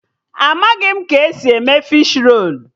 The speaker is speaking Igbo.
Amaghị m ka esi eme fishi rolu